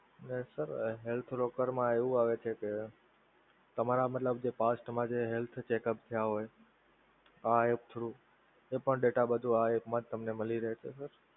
ને sir health broker માં એવું આવે છે કે તમારા મતલબ first માં જે health checkup થયા હોય આ app through એ પણ data આ બધો આ app માં જ તમને મળી રહે છે sir